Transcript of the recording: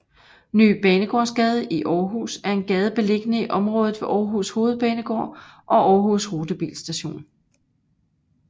Ny Banegårdsgade i Aarhus er en gade beliggende i området ved Aarhus Hovedbanegård og Aarhus Rutebilstation